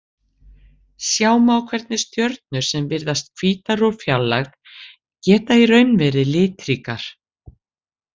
Sjá má hvernig stjörnur sem virðast hvítar úr fjarlægð geta í raun verið litríkar.